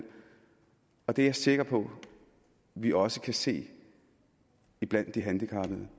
og det er jeg sikker på vi også kan se blandt de handikappede